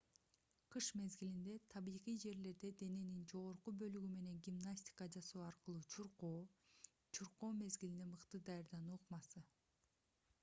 кыш мезгилинде табигый жерлерде дененин жогорку бөлүгү менен гимнастика жасоо аркылуу чуркоо чуркоо мезгилине мыкты даярдануу ыкмасы